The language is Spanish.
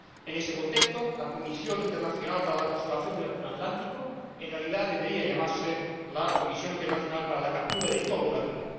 En ese contexto, la Comisión Internacional para la Conservación del Atún Atlántico, en realidad debería llamarse la Comisión Internacional para la Captura de Todo el Atún.